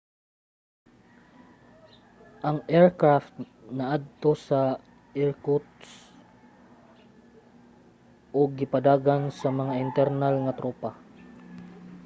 ang aircraft naadto sa irkutsk ug gipadagan sa mga internal nga tropa